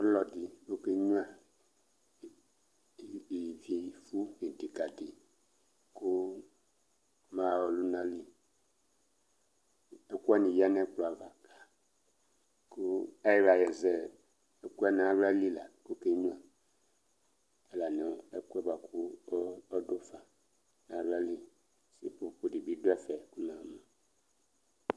Ɔlɔdɩ ɔkenyuǝ eti ivifu ɩdɩkadɩ kʋ ɔmaɣa ɔlʋna li Ɛkʋ wanɩ yǝ nʋ ɛkplɔ ava kʋ ayɩɣla azɛ ɛkʋ yɛ nʋ aɣla li la kʋ ɔkenyuǝ la nʋ ɛkʋ yɛ bʋa kʋ ɔdʋ fa nʋ aɣla liSepopo dɩ bɩ dʋ ɛfɛ kʋ namʋ